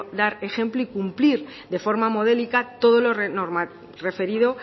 dar ejemplo y cumplir de forma modélica todo lo referido